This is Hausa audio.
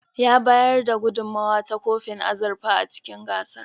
Ya bayar da gudunmowa ta kofin azurfa a cikin gasar.